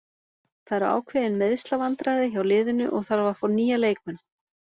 Það eru ákveðin meiðslavandræði hjá liðinu og þarf að fá nýja leikmenn.